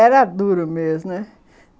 Era duro mesmo, né?